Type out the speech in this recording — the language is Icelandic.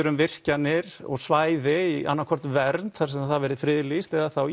um virkjanir og svæði í annað hvort vernd þar sem það væri friðlýst eða þá